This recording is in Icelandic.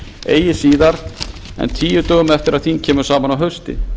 eigi síðar en tíu dögum eftir að þing kemur saman að hausti